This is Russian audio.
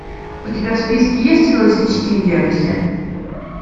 у тебя в списке есть холостячки в вегасе